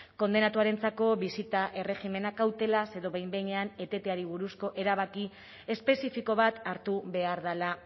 kondenatuarentzako bisita erregimena kautelaz edo behin behinean eteteari buruzko erabaki espezifiko bat hartu behar dela